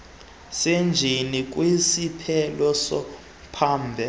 senjini kwisiphelo somphandle